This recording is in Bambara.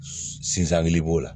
Sinsangu b'o la